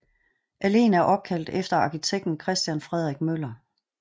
Alléen er opkaldt efter arkitekten Christian Frederik Møller